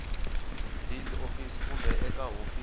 deeds office kumbe eka hofisi